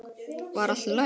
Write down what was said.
Var allt í lagi?